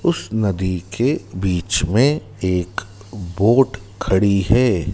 उस नदी के बीच में एक बोट खड़ी है।